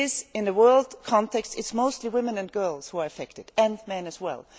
In the world context, it is mostly women and girls who are affected and men as well.